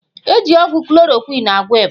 Eji ọgwụ Klorokwịn agwọ ịba.